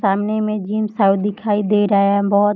सामने में जिम सा दिखाई दे रहा है बहोत --